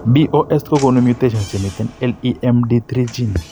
BOS kogonu mutations chemiten LEMD3 gene